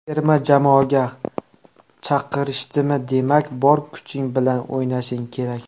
Terma jamoaga chaqirishdimi, demak bor kuching bilan o‘ynashing kerak.